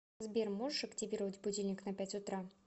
сбер можешь активировать будильник на пять утра